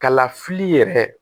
Kalafili yɛrɛ